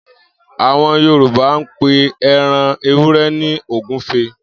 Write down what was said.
Àwo̩n Yorùbá ń pe e̩ran ewúre̩ ní ògúfe